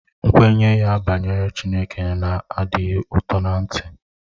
Nkwenye ya banyere Chineke na-adịghị ụtọ ná-ntị